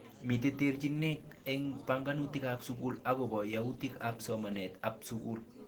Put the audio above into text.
Mite terchinek ing panganutik ap sukul akopo yautik ap somanet ap sukul.